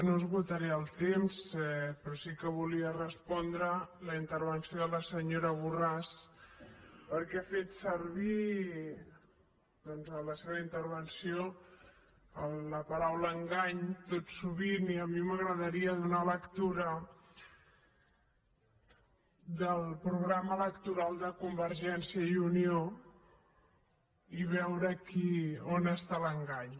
no esgotaré el temps però sí que volia respondre la intervenció de la senyora borràs perquè ha fet servir doncs en la seva intervenció la paraula engany tot sovint i a mi m’agradaria donar lectura del programa electoral de convergència i unió i veure on està l’engany